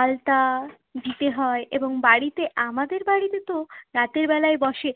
আলতা দিতে হয়। এবং বাড়িতে, আমাদের বাড়িতে তো রাতের বেলায় বসে